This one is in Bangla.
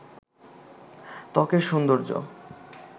ত্বকের সৌন্দর্য